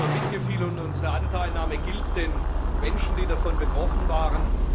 Unser Mitgefühl und unsere Anteilnahme gilt den Menschen, die davon betroffen waren.